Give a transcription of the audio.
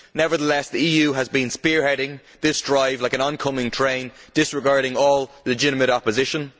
Nevertheless, the EU has been spearheading this drive like an oncoming train, disregarding all legitimate opposition.